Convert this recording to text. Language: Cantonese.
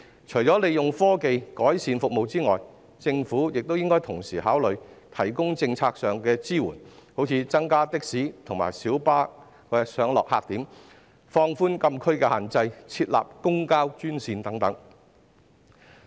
除利用科技改善服務外，政府亦應同時考慮提供政策上的支援，例如增加的士及小巴上落客點、放寬禁區的限制及設立公共交通專線等。